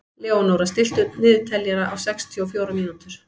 Leónóra, stilltu niðurteljara á sextíu og fjórar mínútur.